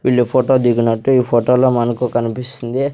వీళ్ళు ఫోటో దిగినట్టు ఈ ఫోటోలో మనకు కనిపిస్తుంది.